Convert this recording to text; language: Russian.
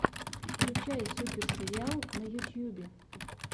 включай супер сериал на ютьюбе